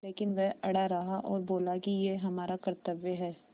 लेकिन वह अड़ा रहा और बोला कि यह हमारा कर्त्तव्य है